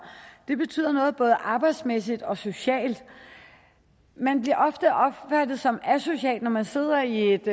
det betyder noget både arbejdsmæssigt og socialt man bliver ofte opfattet som asocial når man sidder i et